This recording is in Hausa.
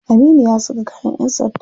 Aminu ya saka kayan yan sanda.